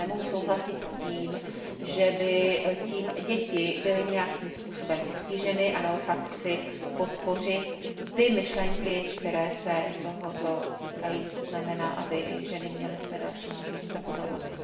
Já nemohu souhlasit s tím, že by tím děti byly nějakým způsobem postiženy a naopak chci podpořit ty myšlenky, které se tohoto týkají. To znamená, aby i ženy měly své další možnosti.